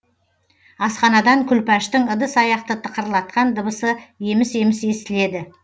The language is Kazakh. асханадан күлпаштың ыдыс аяқты тықырлатқан дыбысы еміс еміс естіледі